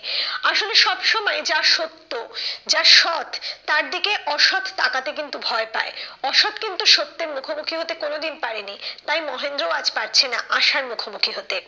আসলে সব সময় যা সত্য, যা সৎ তার দিকে অসৎ তাকাতে কিন্তু ভয় পায়। অসৎ কিন্তু সত্যের মুখোমুখি হতে কোনো দিন পারেনি। তাই মহেন্দ্রও আজ পারছে না আশার মুখোমুখি হতে।